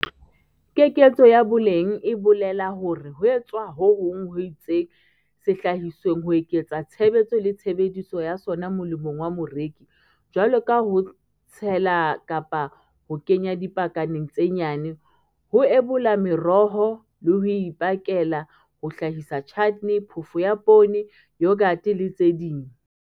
Keketso ya boleng e bolela hore ho etswa ho hong ho itseng sehlahisweng ho eketsa tshebetso le tshebediso ya sona molemong wa moreki, jwalo ka ho tshela kapa ho kenya dipakaneng tse nyane, ho ebola meroho le ho e pakela, ho hlahisa chutney, phofo ya poone, yoghurt le tse ding.